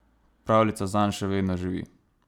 Pravljica zanj še vedno živi.